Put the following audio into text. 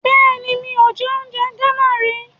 Bẹ́ẹ̀ni, mi ò jẹ oúnjẹ Gánà rí.